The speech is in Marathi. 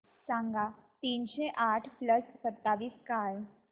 सांगा तीनशे आठ प्लस सत्तावीस काय